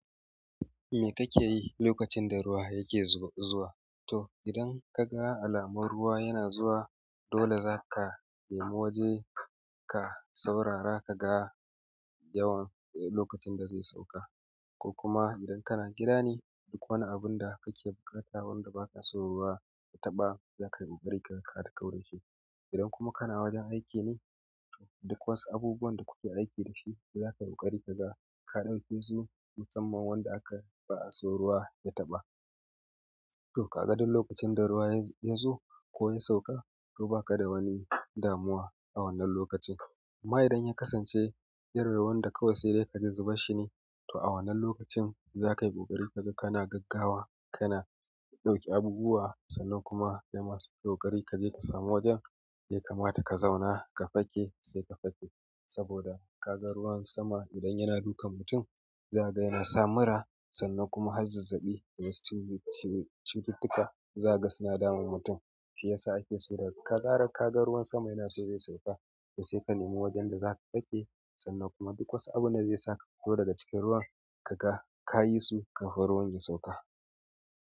Me kake yi lokacin da ruwa yake zuwa? To idan ka ga alamar ruwa yana zuwa dole za ka nemi waje ka saurara ka ga yawan lokacin da zai sauka. Ko kuma idan kana gida ne duk wani abun da kake buƙata wanda ba ka so ruwa ya taɓa za ka yi ƙoƙari ka kauda shi. Idan kuma kana wajen aiki ne duk wasu abubuwan da kuke aiki dashi za ka yi ƙoƙari ka ga ka ɗauke su musamman wanda aka ba a so ruwa ya taɓa. To ka ga duk lokacin da ruwa ya zo ko ya sauka to ba ka da wani damuwa a wannan lokacin. Amma idan ya kasance irin ruwan da kawai sai dai ka ji zubar shine to a wannan lokacin za ka yi ƙoƙari ka ga kana gaggawa, kana ɗauke abubuwa sannan kuma sai kayi ƙoƙari ka je ka samu wajen da ya kamata ka zauna ka fake sai ka fake. Saboda ka ga ruwan sama idan yana dukan mutum za ka ga yana sa mura sannan kuma har zazzaɓi da wasu cututtuka za ka ga suna damun mutum. Shi ya sa ake so da ka kaga ka ga ruwan sama yana so zai sauka to sai ka nemi wajen da za ka fake sannan kuma duk wasu abun da zai saka ka fito daga cikin ruwan ka yi su kafin ruwan ya sauka.